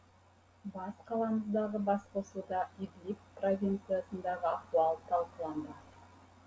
бас қаламыздағы басқосуда идлиб провинциясындағы ахуал талқыланбақ